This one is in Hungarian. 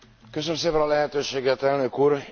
Köszönöm szépen a lehetőséget, Elnök Úr!